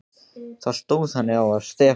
Þá stóð þannig á, að Stefán